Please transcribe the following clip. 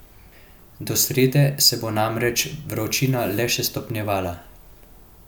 Do srede se bo namreč vročina le še stopnjevala.